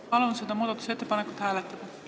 Palun seda muudatusettepanekut hääletada!